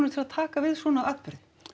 til að taka við svona viðburði